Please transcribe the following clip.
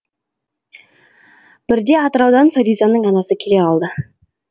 бірде атыраудан фаризаның анасы келе қалды